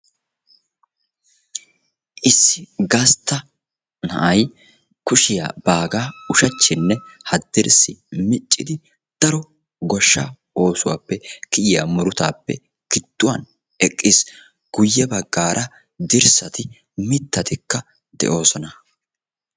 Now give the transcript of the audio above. Issi gastta na'ay kushiyaa baagaa ushachchinne haddirssi miccidi daro goshshaa oosuwappe kiyyiya murutaappe gidduwan eqqis. Guyye baggaara dirssati mittatikka de'oosona.